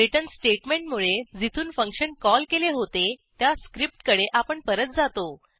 return स्टेटमेंटमुळे जिथून function call केले होते त्या स्क्रिप्टकडे आपण परत जातो